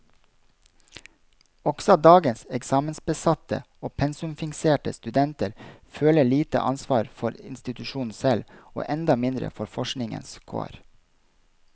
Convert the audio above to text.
Også dagens eksamensbesatte og pensumfikserte studenter føler lite ansvar for institusjonen selv, og enda mindre for forskningens kår.